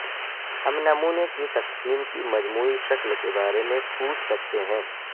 ہم نمونے کی تقسیم کی مجموعی شکل کے بارے میں پوچھ سکتے ہیں